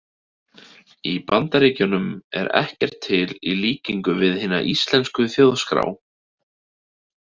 Í Bandaríkjunum er ekkert til í líkingu við hina íslensku þjóðskrá.